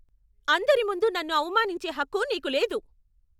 అందరి ముందు నన్ను అవమానించే హక్కు నీకు లేదు.